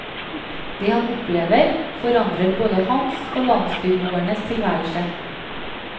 Det han opplever, forandrer både hans og landsbyboernes tilværelse.